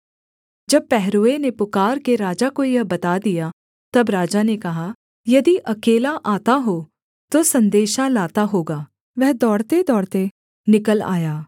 जब पहरुए ने पुकारके राजा को यह बता दिया तब राजा ने कहा यदि अकेला आता हो तो सन्देशा लाता होगा वह दौड़तेदौड़ते निकल आया